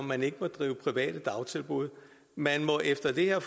man ikke må drive private dagtilbud efter det her